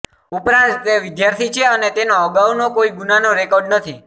ઉપરાંત તે વિદ્યાર્થી છે અને તેનો અગાઉનો કોઈ ગુનાનો રેકોર્ડ નથી